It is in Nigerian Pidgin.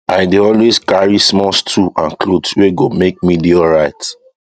i dey always carry small stool and cloth wey go make me dey alright